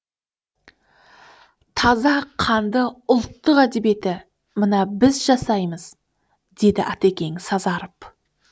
таза қанды ұлттық әдебиетті мына біз жасаймыз деді атакең сазарып